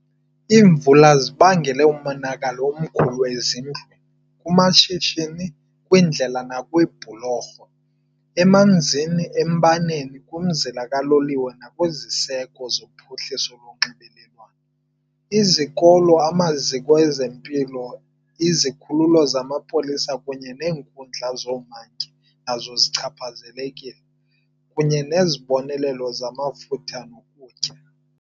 Iimvula zibangele umonakalo omkhulu ezindlwini, kumashishini, kwiindlela nakwiibhulorho, emanzini, embaneni, kumzila kaloliwe nakwiziseko zophuhliso lonxibelelwano. Izikolo, amaziko ezempilo, izikhululo zamapolisa kunye neenkundla zoomantyi nazo zichaphazelekile, kunye nezibonelelo zamafutha nokutya.